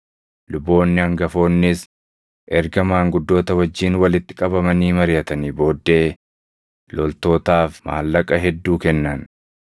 Luboonni hangafoonnis erga maanguddoota wajjin walitti qabamanii mariʼatanii booddee loltootaaf maallaqa hedduu kennan.